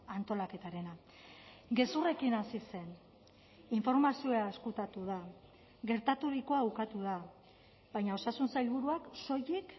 antolaketarena gezurrekin hasi zen informazioa ezkutatu da gertaturikoa ukatu da baina osasun sailburuak soilik